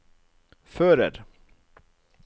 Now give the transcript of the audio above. fører